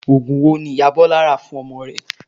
Oògùn wo ni ìyá Bọ́lá rà fún ọmọ rẹ̀?